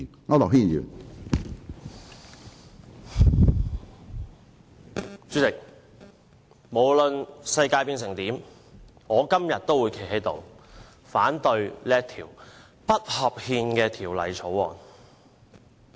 主席，無論世界變成怎樣，我今天都會站起來，反對這項不合憲的《廣深港高鐵條例草案》。